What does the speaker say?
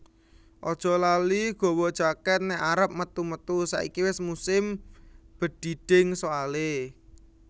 Ojok lali gawa jaket nek arep metu metu saiki wes musim bedhidhing soale